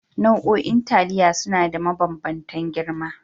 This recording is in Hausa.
Nau'o'in taliya suna da mabambantan girma